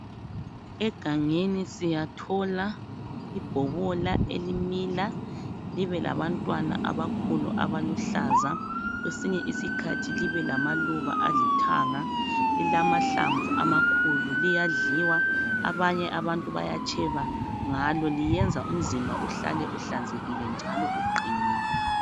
Egangeni siyathola ibhobola elimila libe labantwana abakhulu abaluhlaza kwesinye isikhathi libe lamaluba alithanga. Lilamahlamvu amakhulu liyadliwa, abanye abantu bayatsheba ngalo liyenza umzimba uhlale uhlanzekile njalo uqinile.